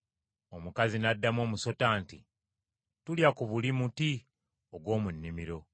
Omukazi n’addamu omusota nti, “Tulya ku buli muti ogw’omu nnimiro,